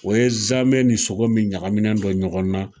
O ye zamɛ ni sogo min ɲagaminen don ɲɔgɔn na